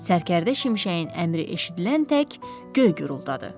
Sərkərdə şimşəyin əmri eşidilən tək göy guruldadı.